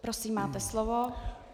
Prosím, máte slovo.